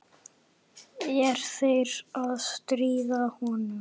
Er þeir að stríða honum?